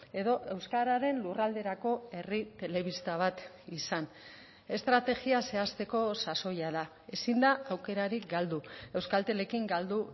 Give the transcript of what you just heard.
edo euskararen lurralderako herri telebista bat izan estrategia zehazteko sasoia da ezin da aukerarik galdu euskaltelekin galdu